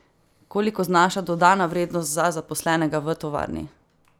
Koliko znaša dodana vrednost za zaposlenega v tovarni?